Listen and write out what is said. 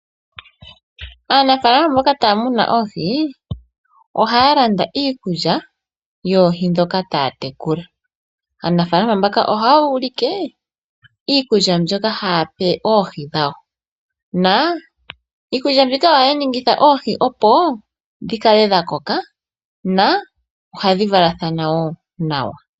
Aanafaalama mboka taya munu oohi, ohaya landa iikulya yoohi ndhoka taya tekula. Aanafaalama mbaka ohaya ulike iikulya mbyoka haya pe oohi dhawo na iikulya mbyika ohayi ningitha oohi opo dhi kale dha koka na ohadhi valathana wo nawa.